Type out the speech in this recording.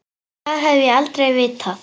Það hef ég aldrei vitað.